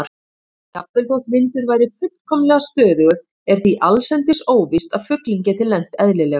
Jafnvel þótt vindur væri fullkomlega stöðugur er því allsendis óvíst að fuglinn geti lent eðlilega.